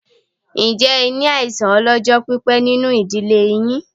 Ǹjẹ́ ẹ ní àìsàn ọ lọ́jọ́ pípé nínú ìdílé yín?